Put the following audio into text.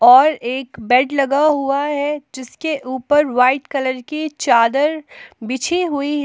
और एक बेड लगा हुआ है जिसके ऊपर व्हाइट कलर की चादर बिछी हुई है।